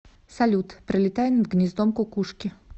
салют пролетая над гнездом кукушки